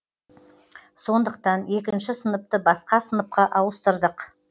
сондықтан екінші сыныпты басқа сыныпқа ауыстырдық